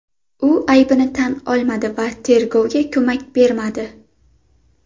U aybini tan olmadi va tergovga ko‘mak bermadi.